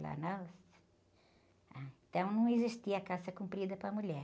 nossa. Então não existia calça comprida para a mulher.